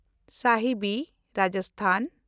Sahibi (Rajasthan)